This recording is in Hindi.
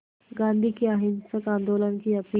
गांधी के अहिंसक आंदोलन की अपील